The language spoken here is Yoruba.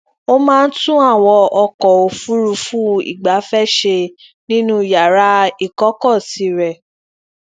ó máa ń tún àwọn ọkọ òfuurufú igbafẹ ṣe nínú yàrá ikọkọsi rẹ